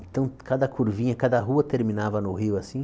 Então, cada curvinha, cada rua terminava no rio, assim.